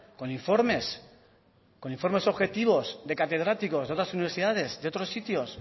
con informes con informes objetivos de catedráticos de otras universidades de otros sitios